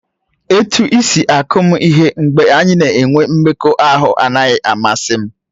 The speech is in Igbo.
Etu isi akụ m ihe mgbe anyị na-enwe mmekọahụ anaghị amasị m.